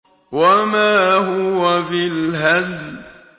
وَمَا هُوَ بِالْهَزْلِ